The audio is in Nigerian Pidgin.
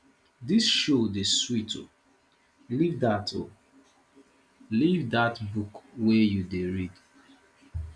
dis show dey sweet o leave dat o leave dat book wey you dey read